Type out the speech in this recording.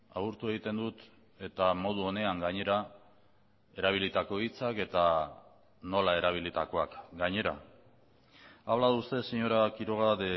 agurtu egiten dut eta modu onean gainera erabilitako hitzak eta nola erabilitakoak gainera ha hablado usted señora quiroga